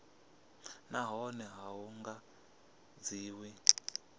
nahone a hu nga dzhiwi